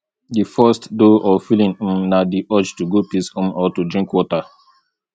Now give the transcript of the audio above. di first though or feeling um na di urge to go piss um or to drink water